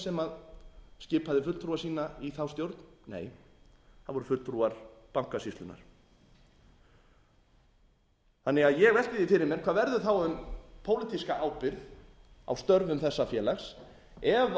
sem skipaði fulltrúa sína í þá stjórn nei það voru fulltrúar bankasýslunnar ég velti því fyrir mér hvað verður þá um pólitíska ábyrgð á störfum þessa félags ef fjármálaráðherra